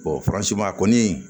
faransiba kɔni